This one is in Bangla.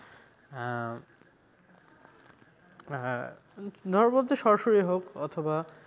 আহ আহ ধরো বলতে সরাসরি হোক অথবা,